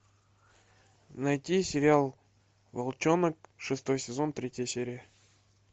найти сериал волчонок шестой сезон третья серия